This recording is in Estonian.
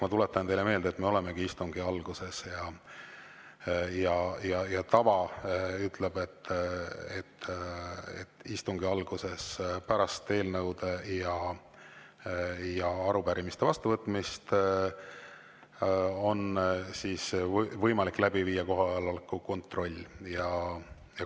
Ma tuletan teile meelde, et me olemegi istungi alguses ja tava ütleb, et istungi alguses, pärast eelnõude ja arupärimiste vastuvõtmist on võimalik läbi viia kohaloleku kontroll.